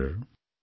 নমস্কাৰ